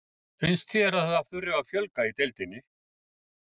Finnst þér að það þurfi að fjölga í deildinni?